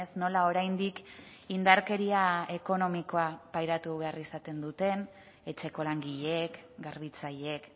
nola oraindik indarkeria ekonomikoa pairatu behar izaten duteen etxeko langileek garbitzaileek